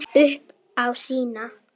Upp á sína.